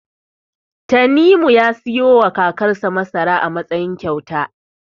Tanimu ya siyowa kakarsa masara a matsayin kyauta.